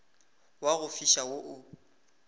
wa go fiša wo o